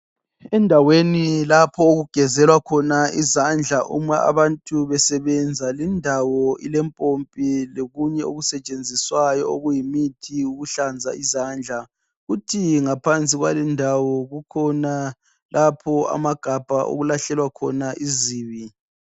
Endaweni lapho okugezelwa khona izandla uma abantu besebenza lindawo ilempompi lokunye okusetshenziswayo okuyimithi yokuhlanza izandla kuthi ngaphansi kwalendawo kukhona lapho amagabha okulahlelwa khona izibi.